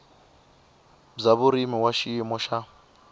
bya vurimi wa xiyimo xa